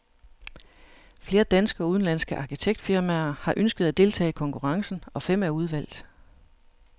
Flere danske og udenlandske arkitektfirmaer har ønsket at deltage i konkurrencen, og fem er udvalgt.